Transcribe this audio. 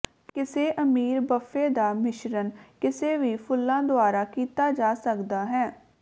ਕਿਸੇ ਅਮੀਰ ਬੱਫੇ ਦਾ ਮਿਸ਼ਰਣ ਕਿਸੇ ਵੀ ਫੁੱਲਾਂ ਦੁਆਰਾ ਕੀਤਾ ਜਾ ਸਕਦਾ ਹੈ